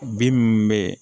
Bin minnu bɛ yen